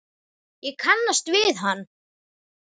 Ég kannast við hann.